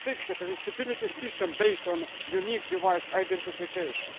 sixth, a stability system based on unique device identification